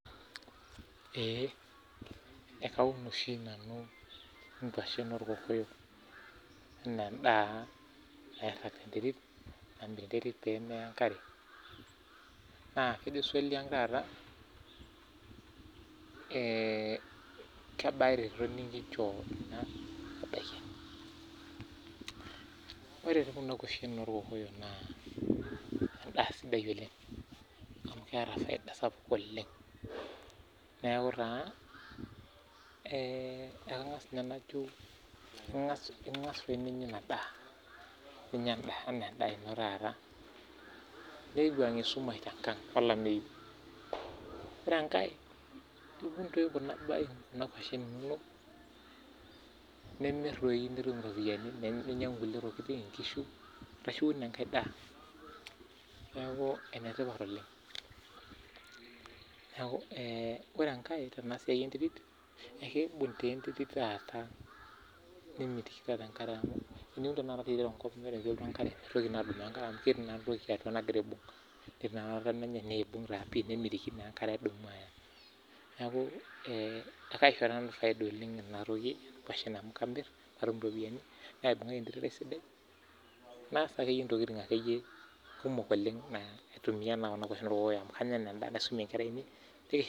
eeeh kaun oshi nanu inkuashen orkokoyok napik sii enterit peemeya enkare , endaa sidai sii oleng naishoo eretoto sapuk amuu ingas doi ninye anya ina daa nimir sii doi nitum iropiani niasie kulie baa ake, neeku enetipat oleng ore enkae kibung enterit oleng nimitoki aisho enkare eya amuu keeku ketii entoki naibungita neeku kaagira aisaidia nanu amu katumito endaa tenebo iropiani eimu